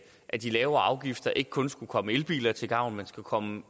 at de lavere afgifter ikke kun skal komme elbiler til gavn man skal komme